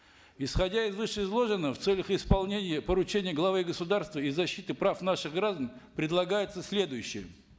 исходя из вышеизложенного в целях исполнения поручения главы государства и защиты прав наших граждан предлагается следующее